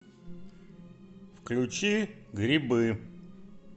включи грибы